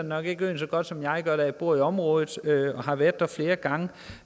nok ikke øen så godt som jeg gør da jeg bor i området og har været der flere gange og